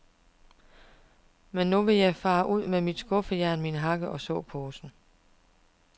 Men nu vil jeg fare ud med mit skuffejern, min hakke og såposen.